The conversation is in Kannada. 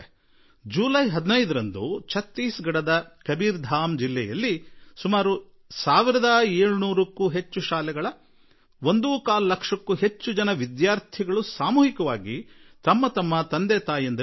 ಜುಲೈ 15ರಂದು ಛತ್ತೀಸ್ ಗಢದ ಕಬೀರ್ ಧಾಮ್ ಜಿಲ್ಲೆಯ ಸುಮಾರು 1 ಸಾವಿರದ 700ಕ್ಕೂ ಹೆಚ್ಚು ಶಾಲೆಗಳ ಒಂದೂಕಾಲು ಲಕ್ಷಕ್ಕೂ ಹೆಚ್ಚು ವಿದ್ಯಾರ್ಥಿಗಳು ಸಾಮೂಹಿಕವಾಗಿ ತಂತಮ್ಮ ತಂದೆ ತಾಯಿಗಳಿಗೆ ಪತ್ರ ಬರೆದರು